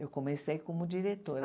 Eu comecei como diretora.